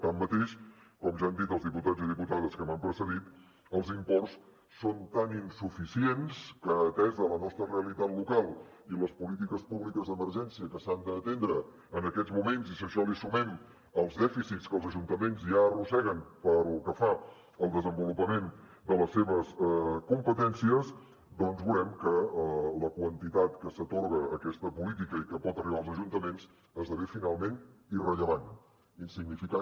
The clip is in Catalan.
tanmateix com ja han dit els diputats i diputades que m’han precedit els imports són tan insuficients que atesa la nostra realitat local i les polítiques públiques d’emergència que s’han d’atendre en aquests moments i si a això li sumem els dèficits que els ajuntaments ja arrosseguen pel que fa al desenvolupament de les seves competències doncs veurem que la quantitat que s’atorga a aquesta política i que pot arribar als ajuntaments esdevé finalment irrellevant insignificant